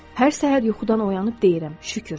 Hər səhər yuxudan oyanıb deyirəm: şükür.